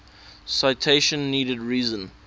citation needed reason